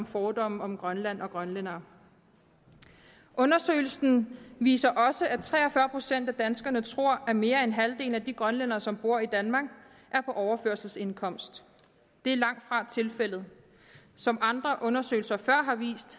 fordomme om grønland og grønlændere undersøgelsen viser også at tre og fyrre procent af danskerne tror at mere end halvdelen af de grønlændere som bor i danmark er på overførselsindkomst det er langtfra tilfældet som andre undersøgelser før har vist